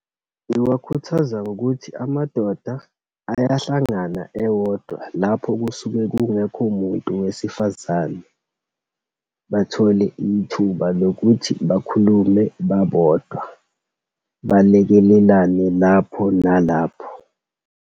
Ngiwakhuthaza ngokuthi, amadoda ayahlangana ewodwa lapho kusuke kungekho muntu wesifazane. Bathole ithuba lokuthi bakhulume babodwa, balekelelane lapho nalapho.